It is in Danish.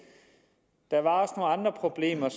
og andre problemer